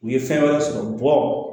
U ye fɛn wɛrɛ sɔrɔ bɔ